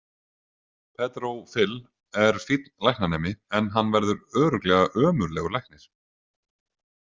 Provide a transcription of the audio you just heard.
Pedro Fill er fínn læknanemi en hann verður örugglega ömurlegur læknir.